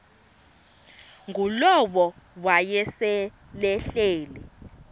ngulowo wayesel ehleli